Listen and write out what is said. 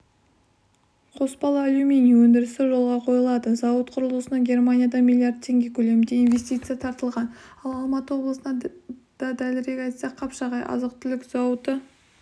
қоспалы алюминий өндірісі жолға қойылады зауыт құрылысына германиядан миллиард теңге көлемінде инвестиция тартылған ал алматы облысында дәлірек айтсақ қапшағайда азық-түлік зауыты